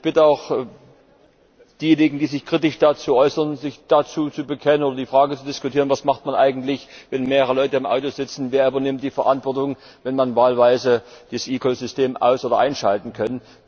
Ich bitte auch diejenigen, die sich kritisch dazu äußern, sich dazu zu bekennen und die Frage zu diskutieren Was macht man eigentlich, wenn mehrere Leute im Auto sitzen, wer übernimmt die Verantwortung, wenn man wahlweise dieses eCall System aus oder einschalten kann?